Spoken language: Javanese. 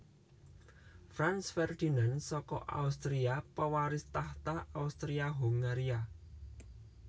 Franz Ferdinand saka Austria pawaris tahta Austria Hongaria